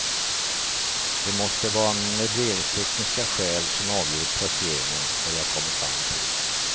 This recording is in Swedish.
Det måste vara möbleringstekniska skäl som avgjort placeringen, har jag kommit fram till.